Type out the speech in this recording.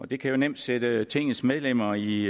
det kan jo nemt sætte tingets medlemmer i